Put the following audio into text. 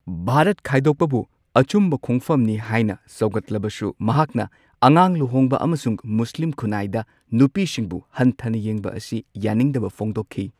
ꯚꯥꯔꯠ ꯈꯥꯢꯗꯣꯛꯄꯕꯨ ꯑꯆꯨꯝꯕ ꯈꯣꯡꯐꯝꯅꯤ ꯍꯥꯢꯅ ꯁꯧꯒꯠꯂꯕꯁꯨ ꯃꯍꯥꯛꯅ ꯑꯉꯥꯡ ꯂꯨꯍꯣꯡꯕ ꯑꯃꯁꯨꯡ ꯃꯨꯁ꯭ꯂꯤꯝ ꯅꯨꯄꯤꯁꯤꯡꯕꯨ ꯍꯟꯊꯅ ꯌꯦꯡꯕ ꯑꯁꯤ ꯌꯥꯅꯤꯡꯗꯕ ꯐꯣꯡꯗꯣꯛꯈꯤ꯫